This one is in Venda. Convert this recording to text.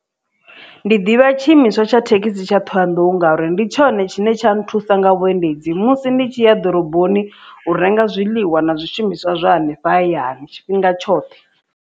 Ndi ḓivha tshiimiswa tsha thekhisi tsha thohoyandou ngauri ndi tshone tshine tsha nthusa nga vhuendedzi musi ndi tshi ya ḓoroboni u renga zwiḽiwa na zwishumiswa zwa hanefha hayani tshifhinga tshoṱhe.